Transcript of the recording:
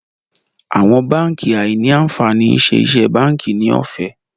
Àwọn bánkì áí ní ànfàní ṣe iṣé bánkì ní òfé.